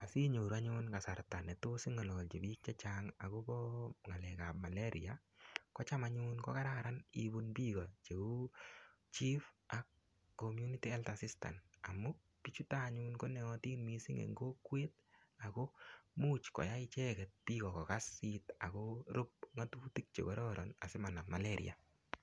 asinyoru anyun kasarta ne tos ing'alalchi biik chechang' akobo ng'alek ap malaria kocham anyun kokararan ibun biiko cheuu chief ak community health assistant amu biichutok anyun konaatin miising' ing' kokwet ako muuch koyai icheket biiko kokas akorup ng'otutik chekororon asimanam malaria